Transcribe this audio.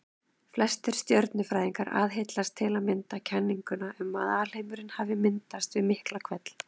Flestir stjörnufræðingar aðhyllast til að mynda kenninguna um að alheimurinn hafi myndast við Miklahvell.